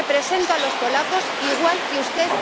Y yo represento a los polacos igual que usted.